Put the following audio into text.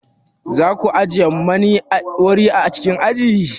Za ku ajiye mani wuri a cikin aji?